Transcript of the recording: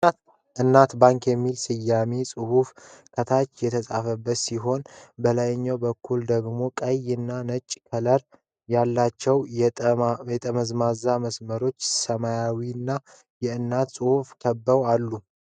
ኢናት ባንክ የሚል ሰማያዊ ጽሑፍ ከታች የተጻፈ ሲሆን፣ በላይ በኩል ደግሞ ቀይ እና ነጭ ከለር ያላቸው የተጠማዘዙ መስመሮች ሰማያዊውን የእናት ጽሑፍ ከበው አሉ። (24 words)